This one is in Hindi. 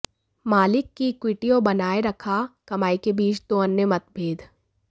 मालिक की इक्विटी और बनाए रखा कमाई के बीच दो अन्य मतभेद